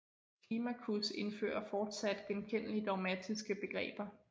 Climacus indfører fortsat genkendelige dogmatiske begreber